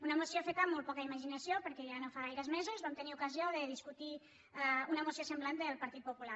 una moció feta amb molt poca imaginació perquè ja no fa gaires mesos vam tenir ocasió de discutir una moció semblant del partit popular